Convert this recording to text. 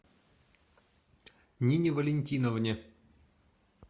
нине валентиновне